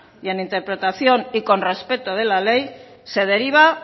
y en interpretación y con respeto de la ley se deriva